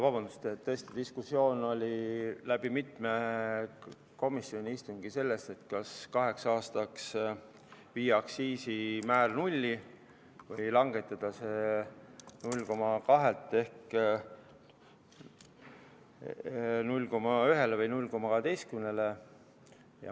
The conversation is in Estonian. Vabandust, tõesti oli mitmel komisjoni istungil diskussioon selle üle, kas viia aktsiisimäär kaheks aastaks nulli või langetada see 0,2-lt ehk 0,1-le või 0,12-le.